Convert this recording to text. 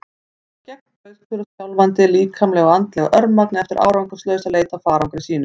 Hann var gegnblautur og skjálfandi, líkamlega og andlega örmagna eftir árangurslausa leit að farangri sínum.